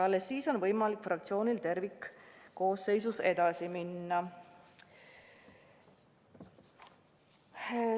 Alles siis on võimalik fraktsioonil tervikuna selles küsimuses edasi minna.